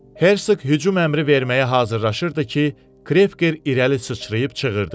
Herseq hücum əmri verməyə hazırlaşırdı ki, Krevker irəli sıçrayıb çığırdı.